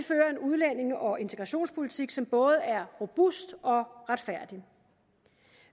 udlændinge og integrationspolitik som både er robust og retfærdig